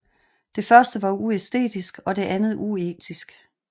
Det første var uæstetisk og det andet uetisk